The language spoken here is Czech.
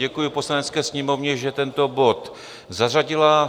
Děkuji Poslanecké sněmovně, že tento bod zařadila.